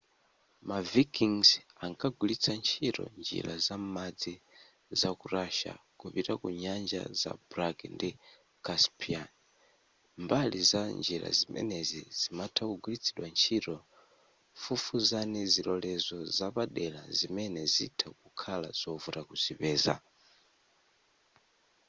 ma vikings ankagwilitsa ntchito njira za m'madzi za ku russia kupita ku nyanja za black ndi caspian mbali za njira zimenezi zimatha kugwiritsidwa ntchito fufuzani zilolezo zapadela zimene zitha kukhala zovuta kuzipeza